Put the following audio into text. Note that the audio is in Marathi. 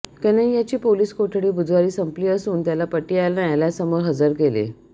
कन्हैय्याची पोलीस कोठडी बुधवारी संपली असून त्याला पटियाला न्यायालयासमोर हजर केले